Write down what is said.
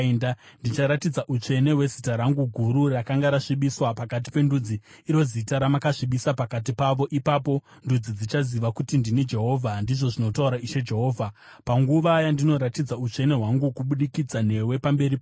Ndicharatidza utsvene hwezita rangu guru, rakanga rasvibiswa pakati pendudzi, iro zita ramakasvibisa pakati pavo. Ipapo ndudzi dzichaziva kuti ndini Jehovha, ndizvo zvinotaura Ishe Jehovha, panguva yandinoratidza utsvene hwangu kubudikidza newe pamberi pavo.